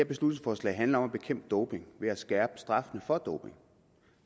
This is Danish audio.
beslutningsforslag handler om at bekæmpe doping ved at skærpe straffen for doping